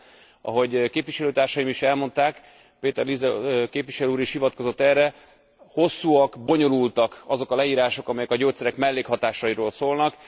Hiszen ahogy képviselőtársaim is elmondták Peter Liese képviselő úr is hivatkozott erre hosszúak, bonyolultak azok a leírások, amelyek a gyógyszerek mellékhatásairól szólnak.